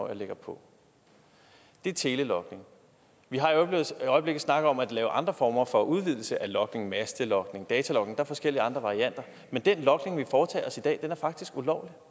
jeg lægger på det er telelogning vi har i øjeblikket snakket om at lave andre former for udvidelser af logningen mastelogning datalogning og der er forskellige andre varianter men den logning vi foretager i dag er faktisk ulovlig